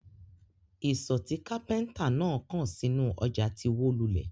Isọ̀ tí kápẹ́ńtà náà kàn sínú ọjà ti wó lulẹ̀.